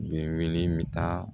Bi wele bɛ taa